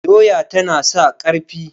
doya tana sa ƙarfi